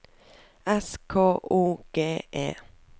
S K O G E